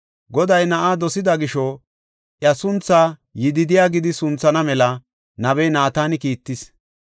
Goday na7aa dosida gisho, iya sunthaa “Yididiya” gidi sunthana mela nabiya Naatana kiittis.